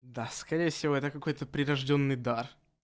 да скорее всего это какой-то прирождённый дар